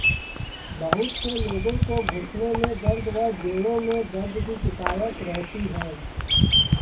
बहुत से लोगों को घुटनों में दर्द व जोड़ों में दर्द की शिकायत रहती है